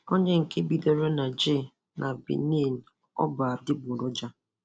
Onye nke bidoro na J na Benin ọ bụ adịgboroja.